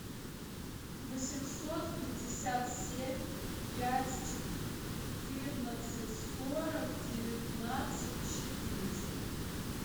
восемьсот пятьдесят семь пять четырнадцать сорок девятнадцать четыреста